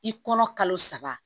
I kɔnɔ kalo saba